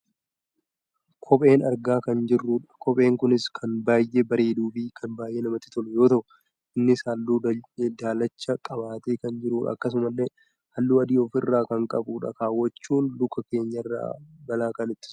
Kopheen argaa kan jirrudha. Kopheen kunis kan baayyee bareeduufi kan baayyee namatti tolu yoo ta'u innis halluu daalacha qabatee kan jirudha. Akkasumasillee halluu adiis of irraa kan qabudha. Kaawwachuun luka keenyarraa balaa kan ittisudha.